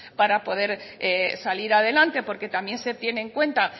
para poder salir adelante porque también se tiene en cuenta